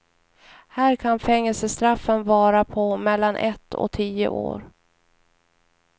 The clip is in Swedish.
Här kan fängelsestraffen vara på mellan ett och tio år.